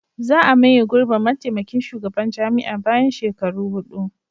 Za a maye gurbin mataimakin shugaban jami'a bayan shekaru hudu.